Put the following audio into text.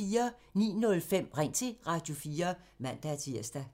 09:05: Ring til Radio4 (man-tir)